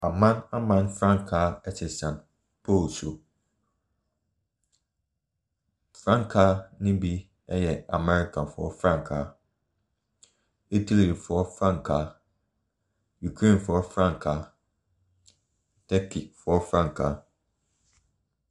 Aman aman frankaa ɛsensan pole so. Frankaa no bi ɛyɛ amerikafoɔ frankaa, Italyfoɔ frankaa, Ukrainefoɔ frankaa, Turkeyfoɔ frankaa,.